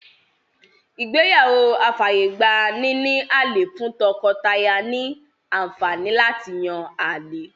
Ìgbéyàwó afàyègba-níní-àlè fún tọkọ-taya ní àǹfàní láti yán àlè.